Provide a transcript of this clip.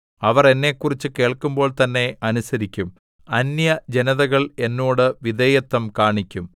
അവർ എന്നെക്കുറിച്ച് കേൾക്കുമ്പോൾ തന്നെ അനുസരിക്കും അന്യജനതകൾ എന്നോട് വിധേയത്വം കാണിക്കും